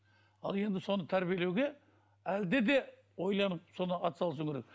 ал енді соны тәрбиелеуге әлде де ойланып соны атсалысу керек